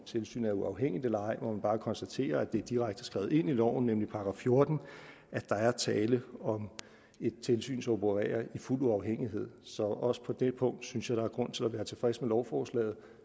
tilsynet er uafhængigt eller ej må man bare konstatere at det er direkte skrevet ind i loven nemlig § fjorten at der er tale om et tilsyn som opererer i fuld uafhængighed så også på det punkt synes jeg der er grund til at være tilfreds med lovforslaget